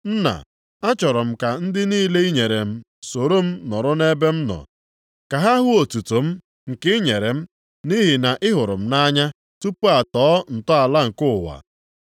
“Nna, achọrọ m ka ndị niile i nyere m soro m nọrọ ebe m nọ. Ka ha hụ otuto m nke i nyere m nʼihi na ị hụrụ m nʼanya tupu atọọ ntọala nke ụwa.